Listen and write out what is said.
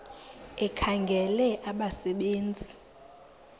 ekhangela abasebe nzi